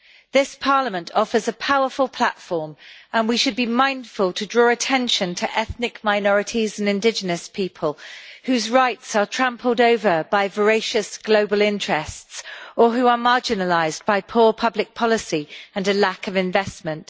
This Parliament offers a powerful platform and we should be mindful to draw attention to ethnic minorities and indigenous people, whose rights are trampled over by voracious global interests or who are marginalised by poor public policy and a lack of investment.